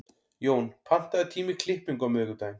Jón, pantaðu tíma í klippingu á miðvikudaginn.